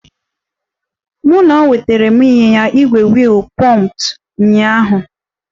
M nnọọ nwetara m ịnyịnya ígwè wiil pumped ụnyaahụ